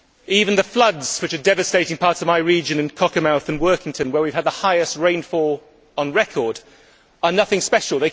Even the floods which are devastating parts of my region in Cockermouth and Workington, where we have had the highest rainfall on record, are nothing special